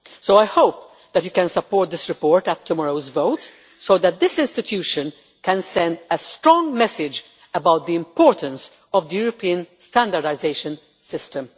So I hope that you can support this report at tomorrow's vote so that this institution can send a strong message about the importance of the European standardisation system.